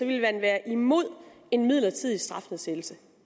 ville man være imod en midlertidig strafnedsættelse